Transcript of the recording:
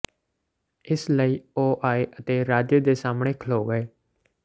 ਇਸ ਲਈ ਉਹ ਆਏ ਅਤੇ ਰਾਜੇ ਦੇ ਸਾਮ੍ਹਣੇ ਖਲੋ ਗਏ